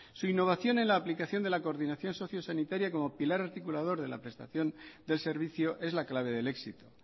su innovación en la aplicación de la coordinación socio sanitaria como pilar articulador de la prestación del servicio es la clave del éxito